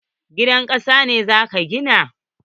Gidan kasa ne za ka gina?